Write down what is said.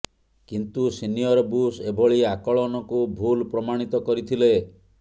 କିନ୍ତୁ senior Bush ଏଭଳି ଆକଳନକୁ ଭୁଲ ପ୍ରମାଣିତ କରିଥିଲେ